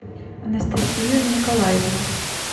анастасию николаевну